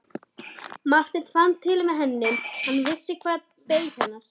Marteinn fann til með henni, hann vissi hvað beið hennar.